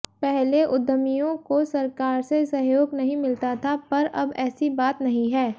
पहले उद्यमियों को सरकार से सहयोग नहीं मिलता था पर अब ऐसी बात नहीं है